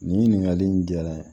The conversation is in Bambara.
Nin ɲininkali in diyara n ye